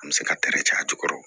An bɛ se ka caya a jukɔrɔ